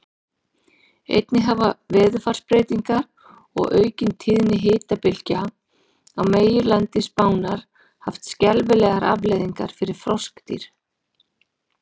Einnig hafa veðurfarsbreytingar og aukin tíðni hitabylgja á meginlandi Spánar haft skelfilegar afleiðingar fyrir froskdýr.